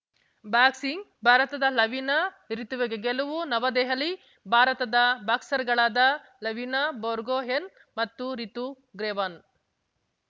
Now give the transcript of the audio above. boxing ಭಾರತದ ಲವಿನಾ ರಿತುವಿಗೆ ಗೆಲುವು ನವದೆಹಲಿ ಭಾರತದ ಬಾಕ್ಸರ್‌ಗಳಾದ ಲವಿನಾ ಬರ್ಗೊಹೇನ್‌ ಮತ್ತು ರಿತು ಗ್ರೆವಾನ್